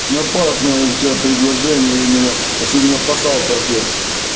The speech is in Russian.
ну опасное у тебя предложение именно особенно по салтовке